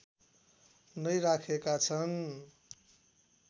नै राखेका छन्